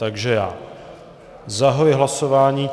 Takže já zahajuji hlasování.